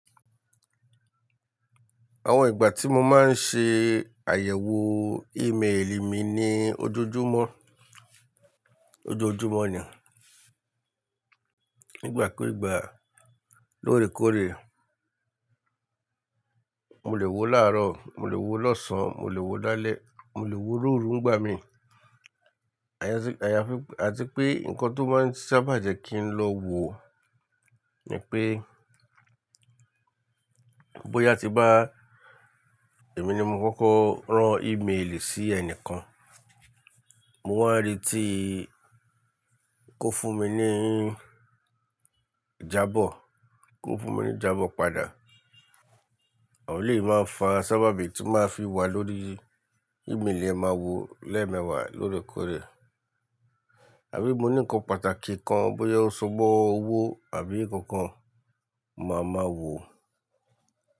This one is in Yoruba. Àwọn ìgbà tí mo máa ń ṣe àyẹ̀wò ímélì mi ni ojoojúmọ́, ojoojúmọ́ ni. Ìgbà kú ìgbà, lóòrèkóòrè. Mo lè wo láàárọ̀, mo lè wo lọ́sàn-án, mo lè wo lálẹ́, mo lè wo lóru gbà mí. Àti pé nǹkan tó máa ń sábà jẹ́ kí n lọ wo ni pé bóyá tí bá èmi ni mo kọ́kọ́ rán ímélì sí ẹnìkan, mo wá rí tí kò fún mi ní ìjábọ̀, kò fún mi ní ìjábọ̀ padà. Àwọn yìí máa ń fa sábàbí tí máa ń fi wà lórí ímélì ẹ máa wo lẹ́ẹ̀mẹwàá lóòrèkóòrè. Àbí mo ní nǹkan pàtàkì kan bóyá ó ṣòwò owó àbí nǹkan kan, mo máa mọ̀ wò.